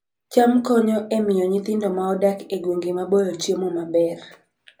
cham konyo e miyo nyithindo ma odak e gwenge maboyo chiemo maber